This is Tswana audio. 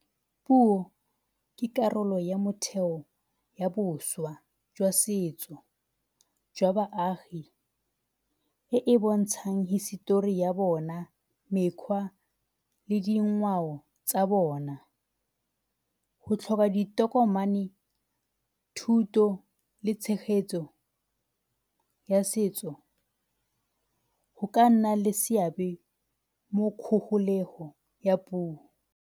Puo ke karolo ya motheo ya boswa jwa setso jwa baagi e e bontshang hisetori ya bona, mekgwa le dingwao tsa bona. Go tlhoba ditokomane, thuto le tshegetso ya setso go ka nna le seabe mo ya puo.